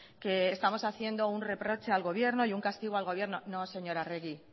que estamos haciendo un reproche al gobierno y un castigo al gobierno no señora arregi